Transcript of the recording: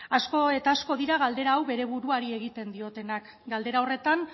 asko eta asko dira galdera hau bere buruari egiten diotenak galdera horretan